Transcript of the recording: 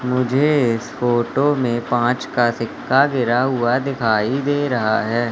मुझे इस फोटो में पांच का सिक्का गिरा हुआ दिखाई दे रहा है।